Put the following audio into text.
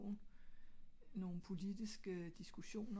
nogle politiske diskussioner